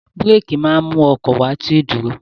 Búrékì máa mú kí ọkọ̀ wá sí ìdúró.